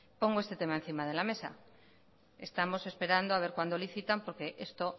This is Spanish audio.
pongo este tema encima de la mesa estamos esperando a ver cuando licitan porque esto